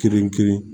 Kelen kelen